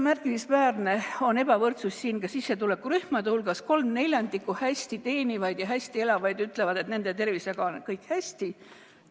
Märkimisväärne on ka sissetulekurühmade ebavõrdsus: 3/4 hästi teenivaid ja hästi elavaid ütlevad, et nende tervisega on kõik hästi.